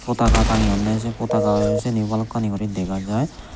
potaka tange yonne say potaka seni balokkani gori dega jai.